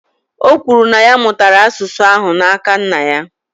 O kwuru, na ya mụtara asụsụ ahụ n’aka nna ya